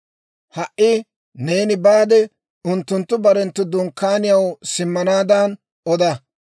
Ha"i neeni baade, unttunttu barenttu dunkkaaniyaw simmanaadan oda.